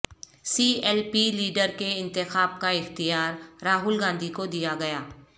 سی L P leader کے انتخاب کا اختیار راہول گاندھی کو دیا گیا